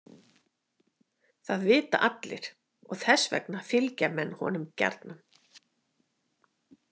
Það vita allir og þess vegna fylgja menn honum gjarnan.